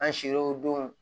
An sir'o don